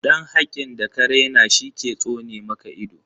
Dan hakin da ka raina shi ke tsone maka ido